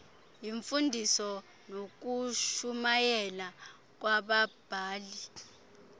yimfundiso nokushumayela kwababhali